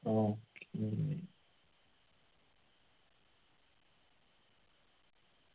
okay